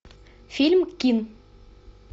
фильм кин